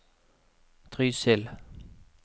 Trysil